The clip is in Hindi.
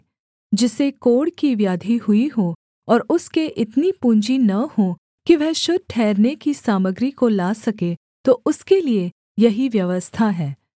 जिसे कोढ़ की व्याधि हुई हो और उसके इतनी पूँजी न हो कि वह शुद्ध ठहरने की सामग्री को ला सके तो उसके लिये यही व्यवस्था है